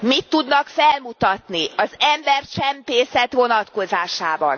Mit tudnak felmutatni az embercsempészet vonatkozásában?